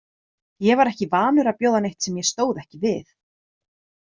Ég var ekki vanur að bjóða neitt sem ég stóð ekki við.